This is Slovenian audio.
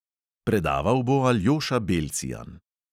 Predaval bo aljoša belcijan.